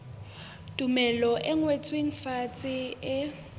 tumello e ngotsweng fatshe e